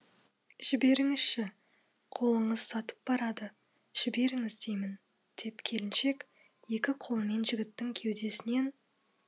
жіберіңізші қолыңыз сатып барады жіберіңіз деймін деп келіншек екі қолымен жігіттің кеудесінен